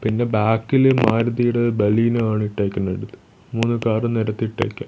പിന്നെ ബാക്കിൽ മാരുതിയുടെ ബലിനോ ആണ് ഇട്ടേക്കുന്നത് മൂന്ന് കാറും നിരത്തി ഇട്ടേക്ക--